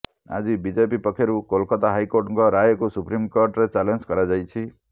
ଆଜି ବିଜେପି ପକ୍ଷରୁ କୋଲକାତା ହାଇକୋର୍ଟଙ୍କ ରାୟକୁ ସୁପ୍ରିମକୋର୍ଟରେ ଚ୍ୟାଲେଞ୍ଜ୍ କରାଯାଇଛି